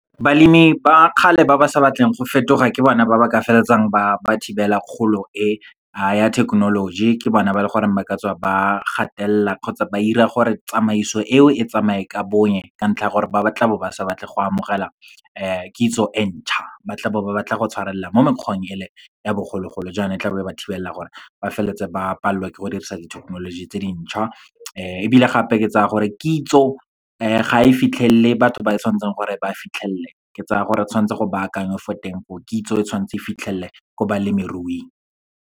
Balemi ba kgale ba ba sa batleng go fetoga ke bona ba ba ka feleletsang ba thibela kgolo e ha ya thekenoloji. Ke bona ba leng gore ba ka tswa ba gatelela kgotsa ba 'ira gore tsamaiso eo e tsamaye ka bonya, ka ntlha ya gore ba tlabe ba sa batle go amogela kitso e ntšha. Ba tla bo ba batla go tshwarelela mo mekgweng e le ya bogologolo, jaana e tla be ba thibela gore ba feleletse ba palelwa ke go dirisa dithekenoloji tse dintšha. Ebile gape, ke tsaya gore kitso ga e fitlhelele batho ba e tshwantseng gore e ba fitlhelele, ke tsaya gore tshwantse go baakangwe fo teng fo o, kitso e tshwantse e fitlhelele ko balemiruing.